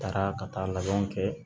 Taara ka taa labanw kɛ